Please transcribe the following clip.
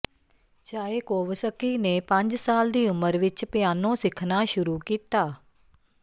Tchaikovsky ਨੇ ਪੰਜ ਸਾਲ ਦੀ ਉਮਰ ਵਿੱਚ ਪਿਆਨੋ ਸਿੱਖਣਾ ਸ਼ੁਰੂ ਕੀਤਾ